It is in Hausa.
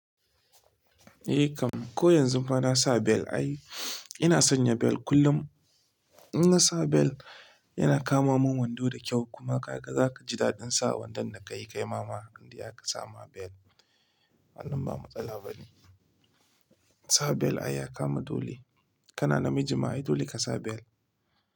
Eh kam, ko yanzu ma na sa bel ai. Ina sanya bel kullum. In na sa bel yana kama mun wando da kyau kuma ka ga zaka ji daɗin sa wandon da kai kai mama inde aka sa ma bel. Wannan ba matsala ba ne. Sa bel ai ya kama dole. Kana namiji ma ai dole ka sa bel.